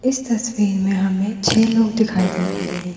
इस तस्वीर में हमें छह लोग दिखाई दे रहे हैं।